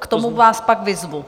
K tomu vás pak vyzvu.